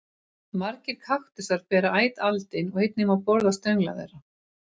Margir kaktusar bera æt aldin og einnig má borða stöngla þeirra.